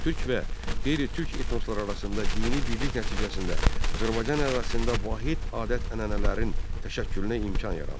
Türk və qeyri-türk etnosları arasında dini birlik nəticəsində Azərbaycan ərazisində vahid adət-ənənələrin təşəkkülünə imkan yarandı.